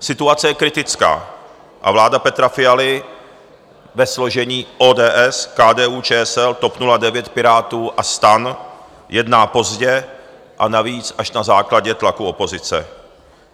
Situace je kritická a vláda Petra Fialy ve složení ODS, KDU-ČSL, TOP 09, Pirátů a STAN jedná pozdě a navíc až na základě tlaku opozice.